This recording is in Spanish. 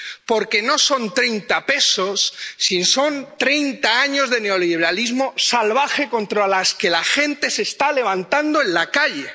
porque no son 30 pesos, sino que son 30 años de neoliberalismo salvaje contra el que la gente se está levantando en la calle.